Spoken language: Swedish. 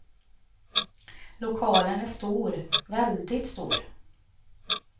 Lokalen är stor, väldigt stor.